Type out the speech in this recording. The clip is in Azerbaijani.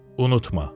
Unutma.